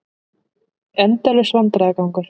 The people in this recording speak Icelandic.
Endalaus vandræðagangur.